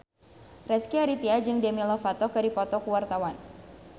Rezky Aditya jeung Demi Lovato keur dipoto ku wartawan